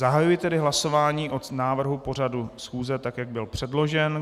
Zahajuji tedy hlasování o návrhu pořadu schůze tak, jak byl předložen.